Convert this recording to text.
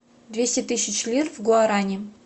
двести тысяч лир в гуарани